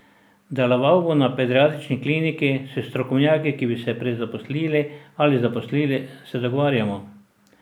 Deloval bo na pediatrični kliniki, s strokovnjaki, ki bi se prezaposlili ali zaposlili, se dogovarjamo.